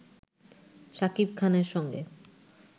শাকিব খানের সঙ্গে